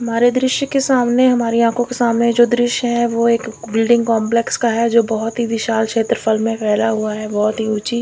हमारे दृश्य के सामने हमारी आंखों के सामने जो दृश्य है वो एक बिल्डिंग कॉम्प्लेक्स का है जो बहुत ही विशाल क्षेत्रफल में फैला हुआ है बहुत ही ऊंची--